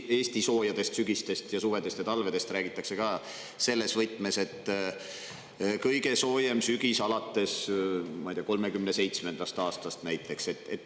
Eesti soojadest sügistest, suvedest ja talvedest räägitakse tihti ka selles võtmes, et see on olnud kõige soojem sügis näiteks 1937. aastast alates.